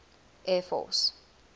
air force